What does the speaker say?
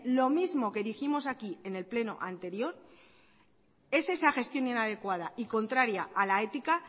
lo mismo que dijimos aquí en el pleno anterior es esa gestión inadecuada y contraria a la ética